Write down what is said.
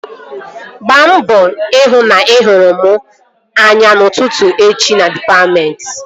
Gbaa mbọ hụ na ị hụrụ m anya n'ụtụtụ echi na dịpatmentị!